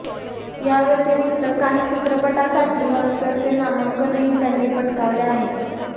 या व्यतिरिक्त काही चित्रपटांसाठी ऑस्करचे नामांकनही त्यांनी पटकावले आहे